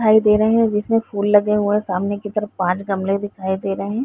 दे रहे हैं जिसमें फूल लगे हुए हैं। सामने की तरफ पांच गमले दिखाई दे रहे हैं।